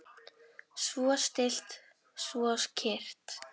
Svo stillt, svo kyrrt.